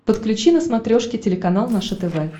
подключи на смотрешке телеканал наше тв